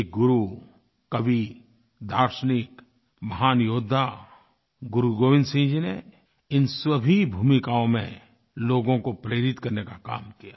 एक गुरु कवि दार्शनिक महान योद्धा गुरुगोविन्द सिंह जी ने इन सभी भूमिकाओं में लोगों को प्रेरित करने का काम किया